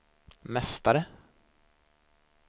mästare